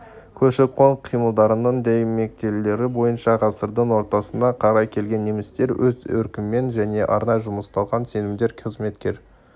көші-қон қимылдарының дәйектемелері бойынша ғасырдың ортасына қарай келген немістер өз еркімен және арнай жұмсалған сенімді қызметкер